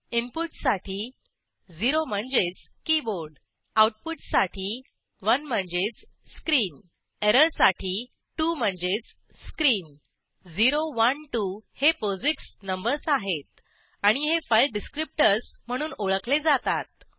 इनपुटसाठी 0 शून्य म्हणजेच कीबोर्ड आऊटपुट साठी 1 एक म्हणजेच स्क्रीन एरर साठी 2 दोन म्हणजेच स्क्रीन 0 1 2 हे पोझिक्स नंबर्स आहेत आणि हे फाईल डिस्क्रीप्टर्स म्हणून ओळखले जातात